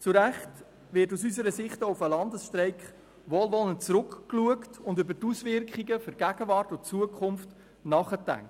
Zu Recht wird aus unserer Sicht auch auf den Landesstreik wohlwollend zurückgeblickt und über die Auswirkungen auf die Gegenwart und die Zukunft nachgedacht.